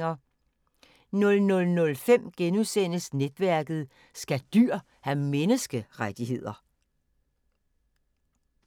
00:05: Netværket: Skal dyr have menneskerettigheder? *